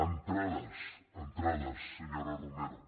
entrades en·trades senyora romero